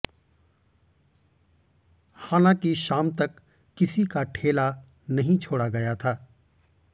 हालांकि शाम तक किसी का ठेला नहीं छोड़ा गया था